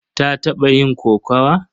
Ta taɓa yin kokawa?